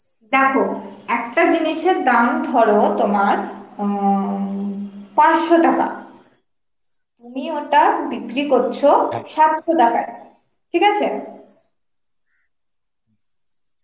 দেখো, একটা জিনিসের দাম ধর তোমার অ পাঁচশো টাকা, তুমি ওটা বিক্রি করছো সাতশো টাকায়, ঠিক আছে?